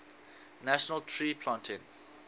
national tree planting